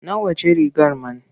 Nawa ce rigar man?